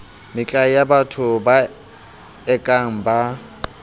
metlae yabatho ba ekang ba